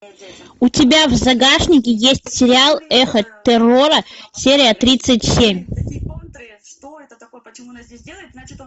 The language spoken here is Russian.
у тебя в загашнике есть сериал эхо террора серия тридцать семь